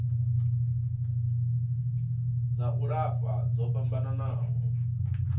dza u lafha dzo fhambanaho